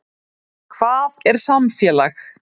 Hvað er samfélag?